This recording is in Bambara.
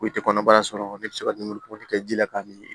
Ko i tɛ kɔnɔbara sɔrɔ ne bɛ se ka dumuni ko kɛ ji la k'a miiri